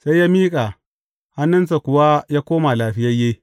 Sai ya miƙe, hannunsa kuwa ya koma lafiyayye.